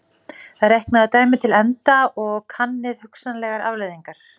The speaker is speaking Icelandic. Reiknið dæmið til enda og kannið hugsanlegar afleiðingar.